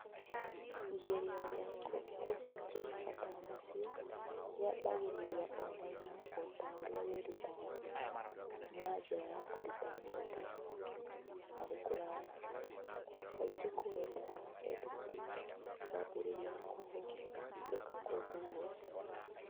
Igeria rĩa kũhingia mabataro macio rĩambĩrĩirie o na ihenya o ta ũrĩa kwĩruta na njĩra ya kũruta mũndũ arĩ kũraya , kaingĩ kũgerera EdTech , kwambĩrĩirie kũhũthĩka kũndũ guothe .